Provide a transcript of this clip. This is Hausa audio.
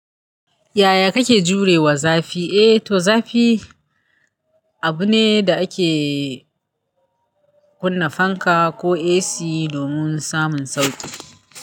Yaya kake jurewa zafi? Eh to zafi abu ne da ake kunna fanka ko AC domin samun sauƙi.